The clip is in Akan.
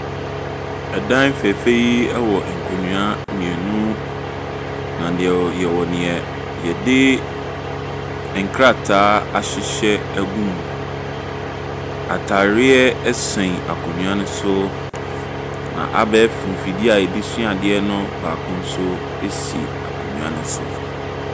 Ɛdan fɛɛfɛ yi wɔ nkonnwa mmienu, na yɛwɔ nea yɛde nkrataa ahyehyɛ agu mu. Ataareɛ ɛsɛn akonnwa no so. Na abɛɛfo mfidie a yɛde sua adeɛ no baako si akonnwa no so.